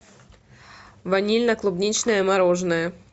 ванильно клубничное мороженое